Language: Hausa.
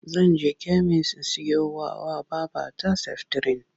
Zan je kemis in siyowa wa babata seftirin.